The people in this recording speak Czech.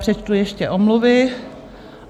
Přečtu ještě omluvy.